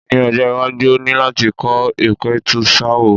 Ní ọjọ́-iwájú o ní láti kọ́ ìpẹ̀tùsááwọ̀.